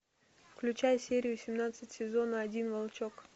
включай серию семнадцать сезона один волчок